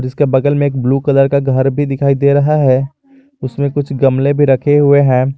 उसके बगल में एक ब्लू कलर का घर भी दिखाई दे रहा है उसमें कुछ गमले भी रखे हुए हैं।